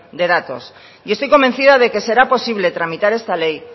de datos y estoy convencida de que será posible tramitar esta ley